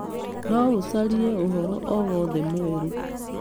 no ũcarie ũhoro o wothe mwerũ